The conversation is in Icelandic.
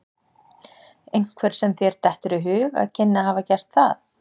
Einhver sem þér dettur í hug að kynni að hafa gert það?